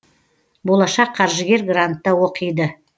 болашақ қаржыгер грантта оқиды